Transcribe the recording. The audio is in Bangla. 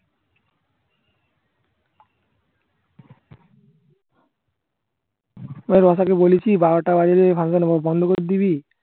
তাই লতা কে বলেছি বারোটা বাজলে Function বন্ধ করে দিবি